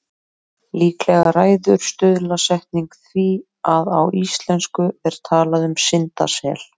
Líklega ræður stuðlasetning því að á íslensku er talað um syndasel.